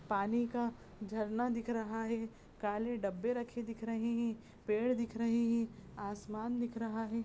पानी का झरना दिख रहा है काले डब्बे रखे दिख रहे हैं पेड़ दिख रहे हैं आसमान दिख रहा है।